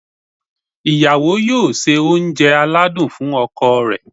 ìyàwó yóò se oúnjẹ aladún fún ọkọ rẹ̀